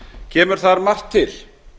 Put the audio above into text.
kemur þar margt til